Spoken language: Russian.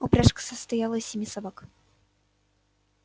упряжка состояла из семи собак